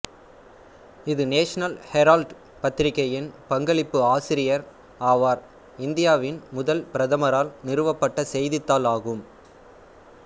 இது National Herald பத்திரிகையின் பங்களிப்பு ஆசிரியர் ஆவார் இந்தியாவின் முதல் பிரதமரால் நிறுவப்பட்ட செய்தித்தாள் ஆகும்